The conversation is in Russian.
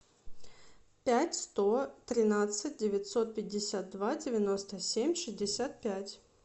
пять сто тринадцать девятьсот пятьдесят два девяносто семь шестьдесят пять